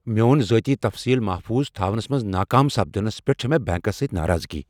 میون ذاتی تفصیل محفوظ تھاونس منز ناکام سپدنس پیٹھ چھےٚ مےٚ بینکس سۭتۍ ناراضگی۔